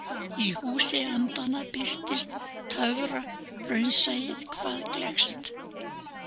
Í Húsi andanna birtist töfraraunsæið hvað gleggst.